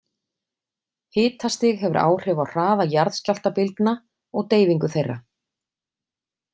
Hitastig hefur áhrif á hraða jarðskjálftabylgna og deyfingu þeirra.